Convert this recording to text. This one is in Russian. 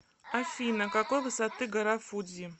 афина какой высоты гора фудзи